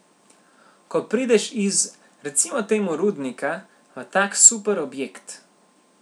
Ko prideš iz, recimo temu rudnika, v tak super objekt.